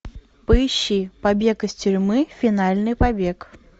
поищи побег из тюрьмы финальный побег